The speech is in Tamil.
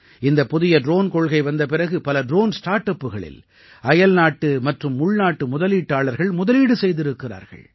இந்தப் புதிய ட்ரோன் கொள்கை வந்த பிறகு பல ட்ரோன் ஸ்டார்ட் அப்புகளில் அயல்நாட்டு மற்றும் உள்நாட்டு முதலீட்டாளர்கள் முதலீடு செய்திருக்கிறார்கள்